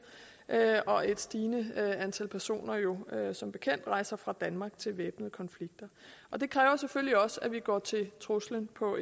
og et stigende antal personer jo som bekendt rejser fra danmark til væbnede konflikter og det kræver selvfølgelig også at vi går til truslen på